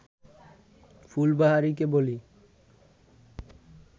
ফুলবাহারিকে বলি